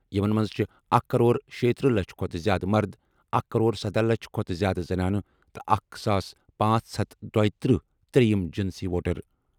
یِمَن منٛز چھِ اکھ کرور شیتٔرہ لچھ کھۄتہٕ زِیٛادٕ مرد، اکھ کرور سدہ لچھ کھۄتہٕ زِیٛادٕ زنانہٕ، تہٕ اکھ ساس پانژھ ہتھ دویتٕرہ ترٛیٚیِم جِنسی ووٹر۔